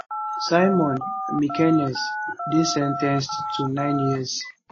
simone mekenese dey sen ten ced to nine years